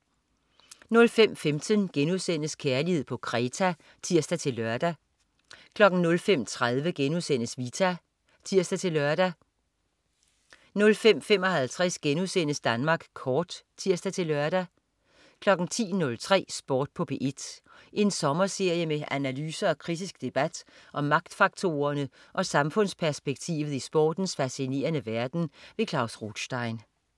05.15 Kærlighed på Kreta* (tirs-lør) 05.30 Vita* (tirs-lør) 05.55 Danmark Kort* (tirs-lør) 10.03 Sport på P1. En sommerserie med analyser og kritisk debat om magtfaktorerne og samfundsperspektivet i sportens fascinerende verden. Klaus Rothstein